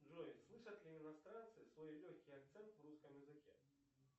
джой слышат ли иностранцы свой легкий акцент в русском языке